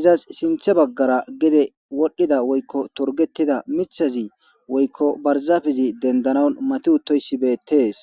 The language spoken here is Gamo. izas sinthe baggara gede wodhdhida woykko torgetida mithazi woykko barzafizi dendanan mati uttoysi beettees.